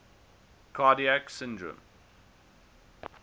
cardiac syndrome